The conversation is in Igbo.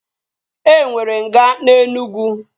E nwere nga na Enugwu